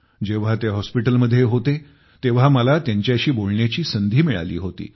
जेव्हा ते हॉस्पिटलमध्ये होते तेव्हा मला त्यांच्याशी बोलण्याची संधी मिळाली होती